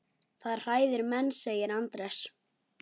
Það hræðir menn, segir Andrés.